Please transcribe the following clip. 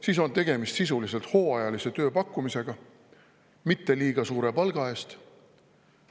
Siis on sisuliselt tegemist hooajalise tööpakkumisega mitte liiga suure palga eest.